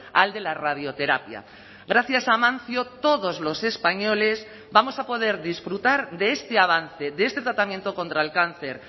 al de la radioterapia gracias a amancio todos los españoles vamos a poder disfrutar de este avance de este tratamiento contra el cáncer